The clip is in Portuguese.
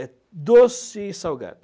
É doce e salgado.